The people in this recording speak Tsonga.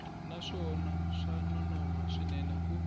naswona swa nonoha swinene ku